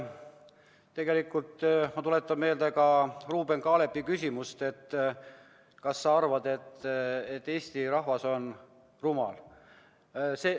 Tegelikult ma tuletan meelde ka Ruuben Kaalepi küsimust, et kas sa arvad, et Eesti rahvas on rumal.